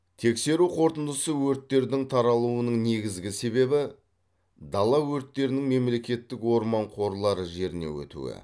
тексеру қорытындысы өрттердің таралуының негізгі себебі дала өрттерінің мемлекеттік орман қорлары жеріне өтуі